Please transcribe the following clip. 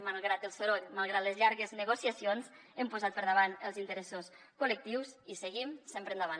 malgrat el soroll malgrat les llargues negociacions hem posat per davant els interessos col·lectius i seguim sempre endavant